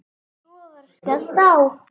Svo var skellt á.